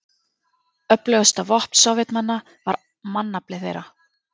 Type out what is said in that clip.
Öflugasta vopn Sovétmanna var mannafli þeirra.